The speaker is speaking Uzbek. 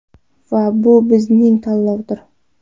Va bu bizning tanlovdir!